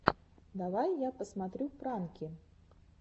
давай я посмотрю пранки